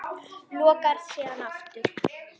Lokar síðan aftur.